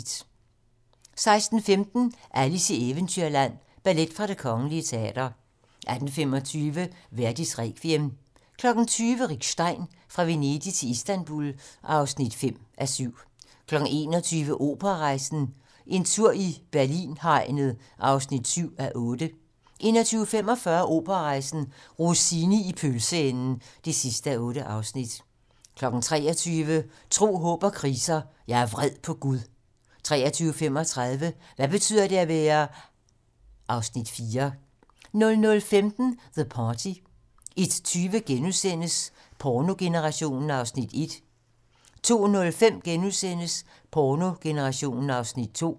16:15: Alice i Eventyrland - ballet fra Det Kgl. Teater 18:25: Verdis Requiem 20:00: Rick Stein: Fra Venedig til Istanbul (5:7) 21:00: Operarejsen - En tur i Berlin-hegnet (7:8) 21:45: Operarejsen - Rossini i pølseenden (8:8) 23:00: Tro, Håb & Kriser: Jeg er vred på Gud 23:35: Hvad betyder det at være (Afs. 4) 00:15: The Party 01:20: Pornogenerationen (1:3)* 02:05: Pornogenerationen (2:3)*